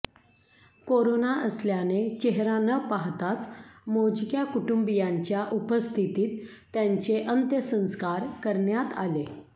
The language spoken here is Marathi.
कोरोना असल्याने चेहरा न पाहताच मोजक्या कुटुंबीयांच्या उपस्थितीत त्यांचे अंत्यसंस्कार करण्यात आले